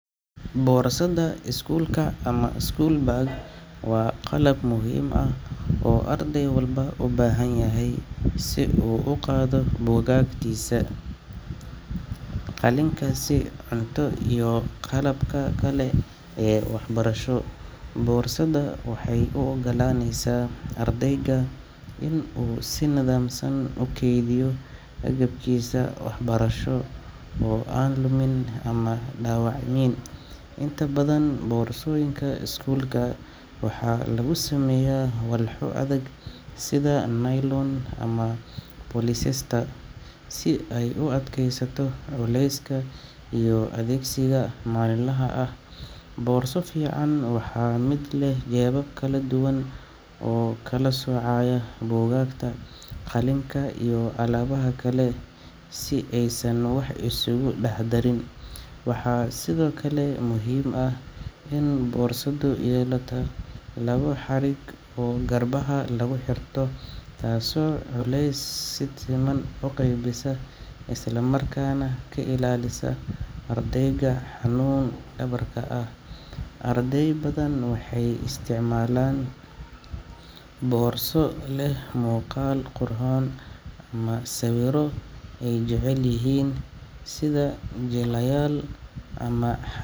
Boorsada iskuulka ama school bag waa qalab muhiim ah oo arday walba u baahan yahay si uu u qaado buugaagtiisa, qalinkiisa, cunto, iyo qalabka kale ee waxbarasho. Boorsada waxay u oggolaanaysaa ardayga inuu si nidaamsan u kaydiyo agabkiisa waxbarasho oo aan lumin ama dhaawacmin. Inta badan boorsooyinka iskuulka waxaa lagu sameeyaa walxo adag sida nylon ama polyester, si ay u adkaysato culeyska iyo adeegsiga maalinlaha ah. Boorso fiican waa mid leh jeebab kala duwan oo kala soocaya buugaagta, qalinka iyo alaabaha kale si aysan wax isugu dhex darin. Waxaa sidoo kale muhiim ah in boorsadu yeelato laba xarig oo garbaha laga xiro, taasoo culeyska si siman u qaybisa isla markaana ka ilaalisa ardayga xanuun dhabarka ah. Arday badan waxay isticmaalaan boorso leh muuqaal qurxoon ama sawirro ay jecel yihiin sida jilaayaal ama xa.